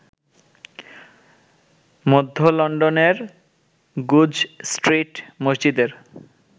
মধ্য লন্ডনের Goodge street মসজিদের